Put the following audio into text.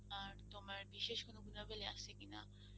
আর তোমার বিশেষ কোনো গুণাবলী আছে কিনা?